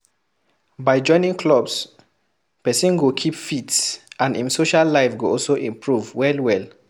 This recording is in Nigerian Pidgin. By joining clubs, person go keep fit and im social life go also improve well well